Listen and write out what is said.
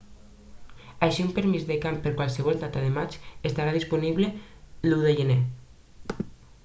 així un permís de camp per a qualsevol data de maig estarà disponible l'1 de gener